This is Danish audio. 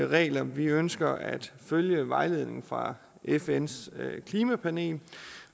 regler vi ønsker at følge vejledningen fra fns klimapanel